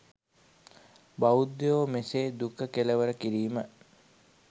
බෞද්ධයෝ මෙසේ දුක කෙළවර කිරීම